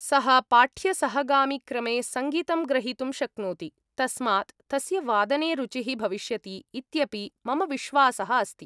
सः पाठ्यसहगामिक्रमे सङ्गीतं ग्रहीतुं शक्नोति, तस्मात् तस्य वादने रुचिः भविष्यति इत्यपि मम विश्वासः अस्ति।